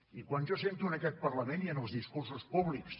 i quan jo sento en aquest parlament i en els discursos públics